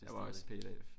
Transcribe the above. Jeg var også